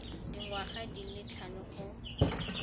dingwaga di le tlhano go